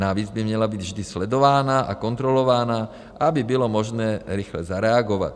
Navíc by měla být vždy sledována a kontrolována, aby bylo možné rychle zareagovat.